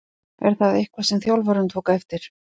Er það eitthvað sem þjálfarinn tók eftir?